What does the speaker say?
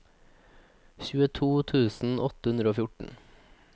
tjueto tusen åtte hundre og fjorten